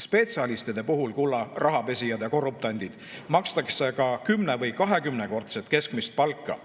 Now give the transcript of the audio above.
Spetsialistide puhul, kulla rahapesijad ja korruptandid, makstakse ka 10- või 20-kordset keskmist palka,